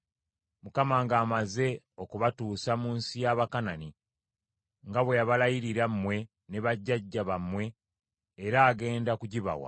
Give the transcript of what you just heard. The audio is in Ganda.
“ Mukama ng’amaze okubatuusa mu nsi y’Abakanani, nga bwe yabalayirira mmwe ne bajjajja bammwe, era agenda kugibawa,